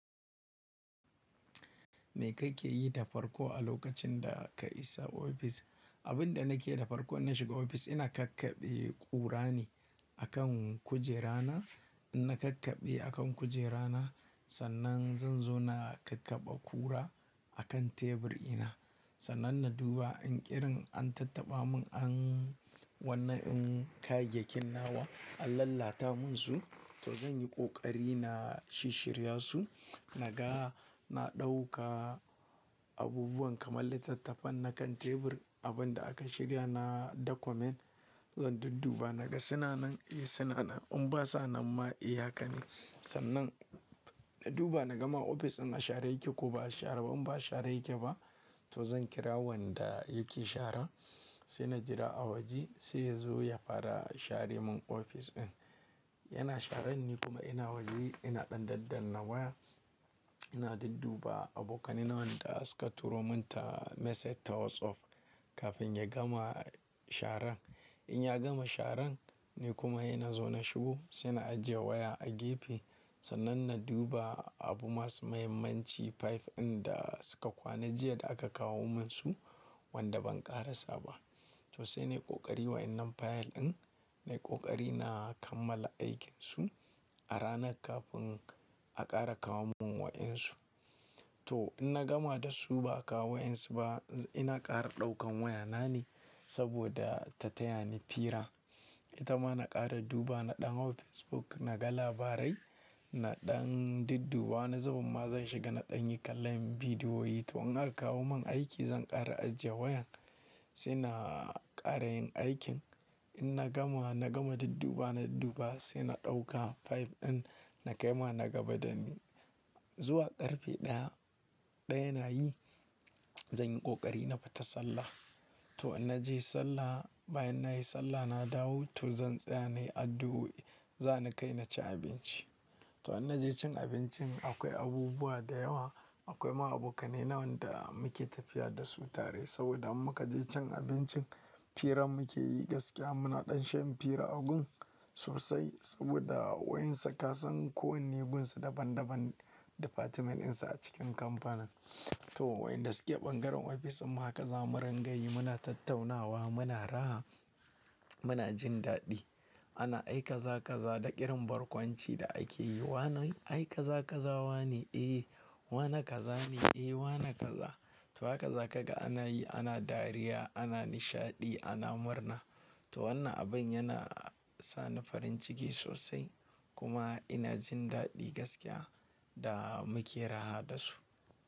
Me kake yi da farko a lokacin da ka isa ofis? Abin da nake da farko in shiga ofis ina kakkaɓe ƙura ne akan kujera na. Ina kakkaɓe akan kujera na sannan zan zo na kakkaɓe ƙura akan tebur ina. Sannan na duba in irin an tattaɓa mun an, wannan in kayayyakin nawa an lalata mun su to zan yi ƙoƙari na shishirya su. Naga na ɗauka abubuwan kamar littattafan na kan tebur, abin da aka shiga na document zan dudduba naga suna nan? Eh suna nan. In ba sa nan ma eh haka ne. Sannan na duba na gama ofis in a share yake ko ba a share. In ba a share yake ba to zan kira wanda yake shara sai na jira a waje sai ya zo ya fara share mun ofis in. Yana sharan ne kuma ina waje ina ɗan daddanna waya ina dudduba abokanai na wanda suka turo mun ta message ta WhatsApp kafin ya gama sharan. In ya gama sharan ni kuma ina zo na shigo sai na ajiye waya a gefe. Sannan na duba abu masu muhimmanci file in da suka kwana jiya da aka kawo mun su wanda ban ƙara saba. To sai na yi ƙoƙari wadanan fayil in na yi ƙoƙari na kammala aikinsu a ranan kafin a ƙara kawo mun wa'insu. To in na gama da su ba a kawo wa'in su ba ina ƙara ɗaukan waya na ne saboda ta taya ni fira. Ita ma na ƙara duba na ɗan hau Facebook naga labarai. Na ɗan dudduba wani zubin ma zan shiga na ɗan yi kallon bidiyoyi. To in aka kawo mun aiki zan ƙara ajiye wayan sai na ƙarayin aikin. In na gama, na gama dudduba na dudduba sai na ɗauka file in na kai ma nagaba da ni. Zuwa ƙarfe ɗaya, ɗaya na yi zan yi ƙoƙari na fita sallah. To in naje sallah bayan nayi sallah na dawo to zan tsaya na yi addu'o'i. Zani kai na ci abinci. To in naje cin abincin akwai abubuwa da yawa. Akwai ma abokai naina waɗanda muke tafiya da su tare saboda mun ka je cin abincin fira muke yi gaskiya. Muna ɗan shan fira a gun sosai saboda wa'insu kasan ko wanne gunsu daban daban difatimeninsa a cikin kamfanin. To wa'inda suke bangaren ofis in haka zamu ringayi muna tattaunawa muna raha muna jin daɗi. Ana ai kaza kaza da irin barkwanci da ake yi. Wa ne ai kaza kaza wa ne? Eh. Wane kaza ne? Eh wane kaza. To haka za kaga ana yi ana dariya ana nishaɗi ana murna. To wannan abin yana sa ni farin ciki sosai kuma ina jin daɗi gaskiya da muke raha da su.